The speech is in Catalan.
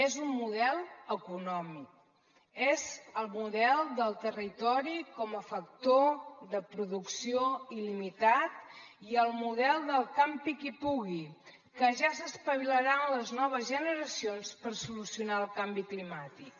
és un model econòmic és el model del territori com a factor de producció il·limitat i el model del campi qui pugui que ja s’espavilaran les noves generacions per solucionar el canvi climàtic